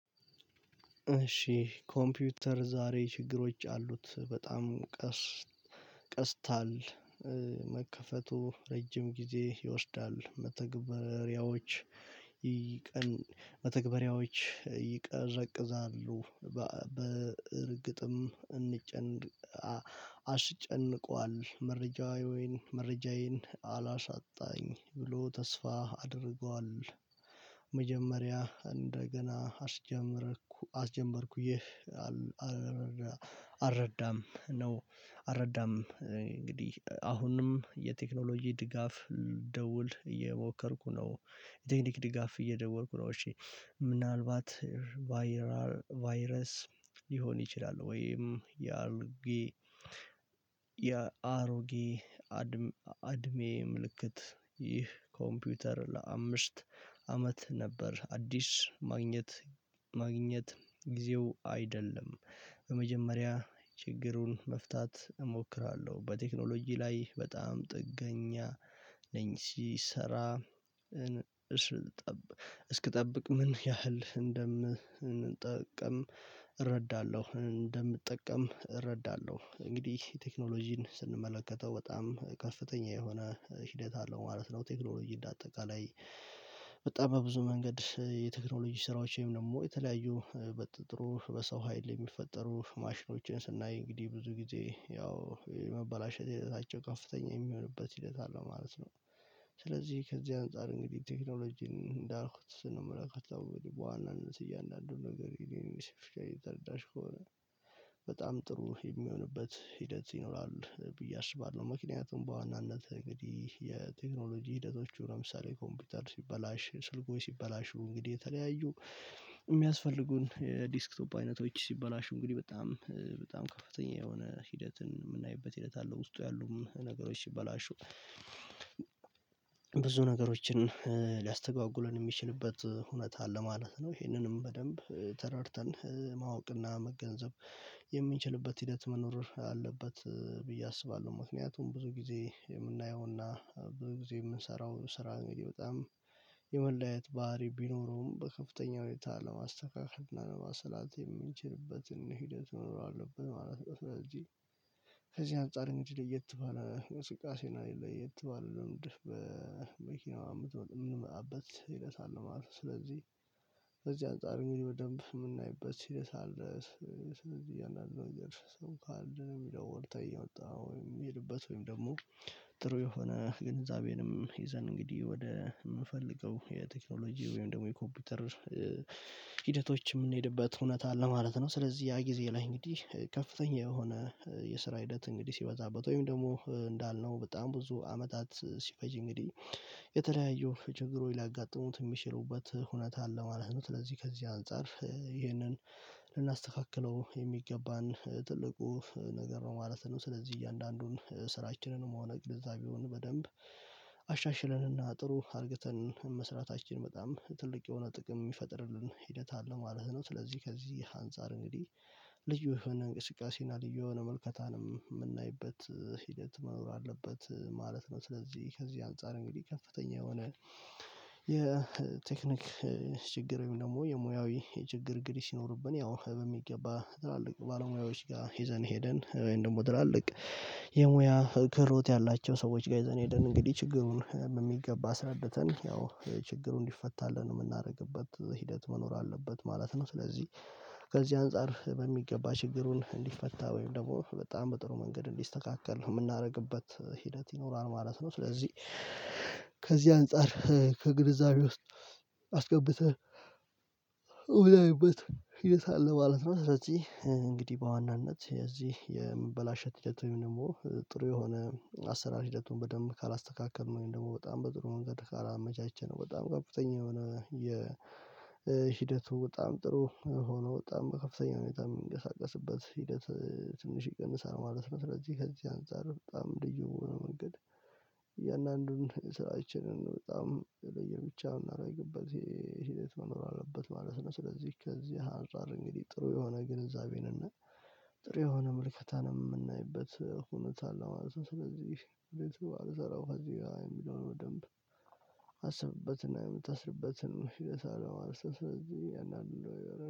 እሺ ኮምፒውተር ዛሬ ችግሮች አሉት በጣም ቀስ ቀስታል መከፈቱ ረጅም ጊዜ ይወስዳል። መተግበሪያዎች ይቅን መተግበሪያዎች ይቅርቅዛሉ በእርግጥም እንጨን አሽጨንቋል። መረጃዬን መረጃዬን አላሻጣኝ ብሎ ተስፋ አድርጓል። መጀመሪያ እንደገና አስጀመርኩ አስጀምበርኩኝ አረዳም ነው። አረዳም እንግዲህ አሁንም የቴክኖሎጂ ድጋፍ ደውል እየሞከርኩ ነው። የቴክኒክ ድጋፍ እየደወርኩ ነው። እሺ ምናልባት ቫይራል ቫይረስ ሊሆን ይችላል። ወይም ያሮጌ ያሮጌ አድሜ ምልክት ይህ ኮምፒውተር ለአምስት አመት ነበር። አዲስ ማግኘት ማግኘት ጊዜው አይደለም። በመጀመሪያ ችግሩን መፍታት እሞክራለሁ። በቴክኖሎጂ ላይ በጣም ጥገኛ ነኝ። ሲሰራ እስክትጠብቅ ምን ያህል እንደምንጠቀም እረዳለሁ። እንደምንጠቀም እረዳለሁ። እንግዲህ ቴክኖሎጂን ስንመለከተው በጣም ከፍተኛ የሆነ ሂደት አለው ማለት ነው። ቴክኖሎጂ እንደ አጠቃላይ በጣም በብዙ መንገድ የቴክኖሎጂ ስራዎችም ደግሞ የተለያዩ በጥሩ በሰው ሀይል የሚፈጠሩ ማሽኖችን ስናይ እንግዲህ ብዙ ጊዜ ያው የመበላሸት ህይወታቸው ከፍተኛ የሚሆንበት ሂደት አለው ማለት ነው። ስለዚህ ከዚህ አንፃር እንግዲህ ቴክኖሎጂን እንዳልኩት ምላክ አልተወለደም በዋናነት እያንዳንዱን ነገር ይሄን ሲፈልግ ተረዳሽ ከሆነ በጣም ጥሩ የሚሆንበት ሂደት ይኖራል ብዬ አስባለሁ። ምክንያቱም በዋናነት እንግዲህ የቴክኖሎጂ ሂደቶች ለምሳሌ ኮምፒውታል ሲበላሽ ስልክ ሲበላሹ እንግዲህ የተለያዩ የሚያስፈልጉን ዲስክቶፕ አይነቶች ሲበላሹ እንግዲህ በጣም በጣም ከፍተኛ የሆነ ሂደትን የምናይበት ሂደት አለው ውስጡ ያሉም ነገሮች ሲበላሹ ብዙ ነገሮችን ሊያስተጓጉለን የሚችልበት እውነት አለ ማለት ነው። ይሄንንም በደንብ ተረድተን ማወቅና መገንዘብ የሚችልበት ሂደት መኖር አለበት ብዬ አስባለሁ። ምክንያቱም ብዙ ጊዜ የምናየውና ብዙ ጊዜ የምንሰራው ስራ እንግዲህ በጣም የመለያየት ባህሪ ቢኖረውም በከፍተኛ ሁኔታ ለማስተካከል እና ለማሰላት የምንችልበትን ሂደት እኖረዋለሁብን ማለት ነው። ስለዚህ ከዚህ አንፃር እንጂ ደየት ትባላለህ? ስቃሴና የት ባለ ልምድ በመኪናው አምጥቶ የምንመጣበት ሌላ ሳለ ማለት ነው። ስለዚህ በዚህ አንፃር የሚል በደንብ የምናይበት ሲሪየስ አለ። ስለዚህ ያን አለ እንደርስም ካለ የሚለው ወርተህ እየወጣ ወይም የሚሄድበት ወይም ደግሞ ጥሩ የሆነ ግንዛቤንም ይዘን እንግዲህ ወደ የምፈልገው የቴክኖሎጂ ወይም ደግሞ የኮምፒውተር ሂደቶች የምንሄድበት እውነት አለ ማለት ነው። ስለዚህ ያ ጊዜ ላይ እንግዲህ ከፍተኛ የሆነ የስራ ሂደት እንግዲህ ሲበዛበት ወይም ደግሞ እንዳልነው በጣም ብዙ አመታት ሲፈጅ እንግዲህ የተለያየው ችግሩ ሊያጋጥሙት የሚችሉበት እውነት አለ ማለት ነው። ስለዚህ ከዚህ አንፃር ይህንን ልናስተካክለው የሚገባን ትልቁ ነገር ነው ማለት ነው። ስለዚህ እያንዳንዱን ስራችንንም ሆነ ቅድዛቤውን በደንብ አሻሽለንና አጥሩ አርግተን መስራታችን በጣም ትልቅ የሆነ ጥቅም የሚፈጥርልን ሂደት አለው ማለት ነው። ስለዚህ ከዚህ አንፃር እንግዲህ ልዩ የሆነ እንቅስቃሴና ልዩ የሆነ መልከታንም የምናይበት ሂደት መኖር አለበት ማለት ነው። ስለዚህ ከዚህ አንፃር እንግዲህ ከፍተኛ የሆነ የቴክኒክ ችግር ወይም ደግሞ የሙያዊ የችግር ግድግድ ሲኖርብን ያው በሚገባ ድላልቅ ባለሙያዎች ጋር ሄዘን ሄደን ወይም ደግሞ ድራልቅ የሙያ ክህሎት ያላቸው ሰዎች ጋር ይዘን ሄደን እንግዲህ ችግሩን በሚገባ አስረድተን ያው ችግሩን እንዲፈታለን የምናደርግበት ሂደት መኖር አለበት ማለት ነው። ስለዚህ ከዚህ አንፃር በሚገባ ችግሩን እንዲፈታ ወይም ደግሞ በጣም በጥሩ መንገድ እንዲስተካከል ነው የምናደርግበት ሂደት ይኖራል ማለት ነው። ስለዚህ ከዚህ አንፃር ከግልፃሜ ውስጥ አስገብተህ ወዳይበት ህይወት አለ ማለት ነው። ስለዚህ እንግዲህ በዋናነት የዚህ የምበላሸት ሂደት ወይም ደግሞ ጥሩ የሆነ አሰራር ሂደቱን በደንብ ካላስተካከልን ወይም ደግሞ በጣም በጥሩ መንገድ ካላመቻቸን በጣም ገብተኛ የሆነ የሂደቱ በጣም ጥሩ ሆኖ በጣም ከፍተኛ ሁኔታ የሚንቀሳቀስበት ሂደት ትንሽ ይቀንሳል ማለት ነው። ስለዚህ ከዚህ አንፃር በጣም ልዩ መንገድ እያንዳንዱን ስራችንን በጣም ለየር ብቻ ምናምን የገባት የሽህደት መኖር አለበት ማለት ነው። ስለዚህ ከዚህ ሀንሳር እንግዲህ ጥሩ የሆነ ግንዛቤን እና ጥሩ የሆነ ምልከታን የምናይበት ሁኔታ አለው ማለት ነው። ስለዚህ እንዴት ነው? አልሰራሁም እዚህ የሚለውን በደንብ አስብበትና የምትሰርበትን መሽተሳለም አርሰስ ስለዚህ ያን አለው።